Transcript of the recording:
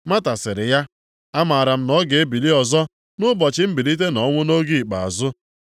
Mata sịrị ya, “Amara m na ọ ga-ebili ọzọ nʼụbọchị mbilite nʼọnwụ nʼoge ikpeazụ.”